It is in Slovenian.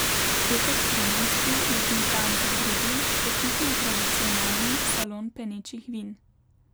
Petek trinajsti je bil dan za drugi, očitno tradicionalni, salon penečih vin.